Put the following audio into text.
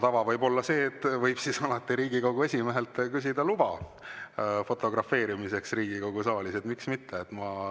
See võib olla hea tava, alati võib Riigikogu esimehelt küsida luba fotografeerimiseks Riigikogu saalis, miks mitte.